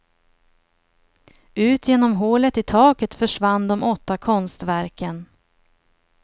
Ut genom hålet i taket försvann de åtta konstverken.